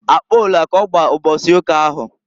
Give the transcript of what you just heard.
Akpola k'ọgba mbọsị ụka ahụ.